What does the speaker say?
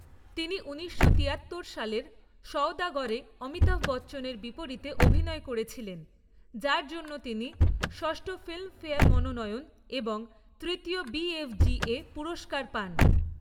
তিনি উনিশশো তিয়াত্তর সালের 'সওদাগরে' অমিতাভ বচ্চনের বিপরীতে অভিনয় করেছিলেন, যার জন্য তিনি ষষ্ঠ ফিল্মফেয়ার মনোনয়ন এবং তৃতীয় বি.এফ.জি.এ পুরস্কার পান।